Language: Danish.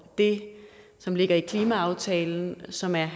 det som ligger i klimaaftalen som er en